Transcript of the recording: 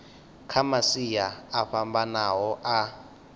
kha masia o fhambanaho a